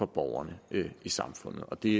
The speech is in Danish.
borgerne i samfundet og det